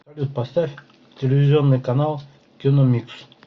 салют поставь телевизионный канал киномикс